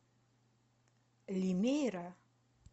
лимейра